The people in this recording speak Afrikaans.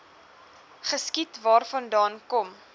geskiet waarvandaan kom